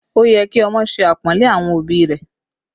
Ó yẹ kí ọmọ ṣe apọnle àwọn òbí rẹ̀